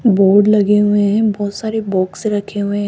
Board लगे हुए हैं बहुत सारे बॉक्स रखे हुए हैं।